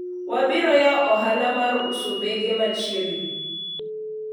wabiro yawo ohala mar uso bege machiegni